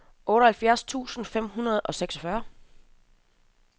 otteoghalvfjerds tusind fem hundrede og seksogfyrre